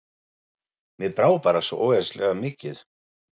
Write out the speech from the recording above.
Mér brá bara svo ógeðslega mikið.